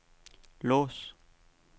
lås